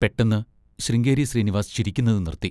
പെട്ടെന്ന് ശൃംഗേരി ശ്രീനിവാസ് ചിരിക്കുന്നത് നിർത്തി.